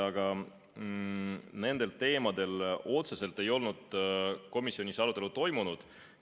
Aga komisjonis nendel teemadel otseselt arutelu ei toimunud.